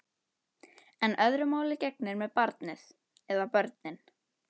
En öðru máli gegnir með barnið. eða börnin.